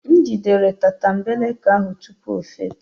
M jidere tatambeleke ahụ tupu ọ fepu